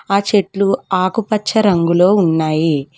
ఆ చెట్లు ఆకుపచ్చ రంగులో ఉన్నయి.